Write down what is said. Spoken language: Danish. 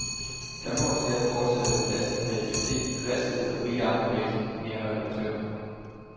Der må og skal fortsat være plads til kreativitet, dristighed og frie armbevægelser, mener redaktøren.